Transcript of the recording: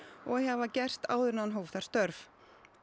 og eigi að hafa gerst áður en hann hóf þar störf